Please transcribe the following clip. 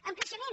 amb creixement